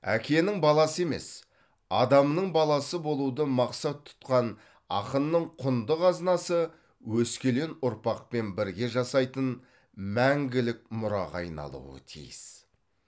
әкенің баласы емес адамның баласы болуды мақсат тұтқан ақынның құнды қазынасы өскелең ұрпақпен бірге жасайтын мәңгілік мұраға айналуы тиіс